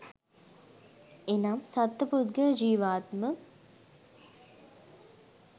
එනම් සත්ව පුද්ගල ජීව ආත්ම